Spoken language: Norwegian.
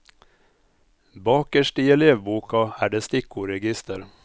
Bakerst i elevboka er det stikkordregister.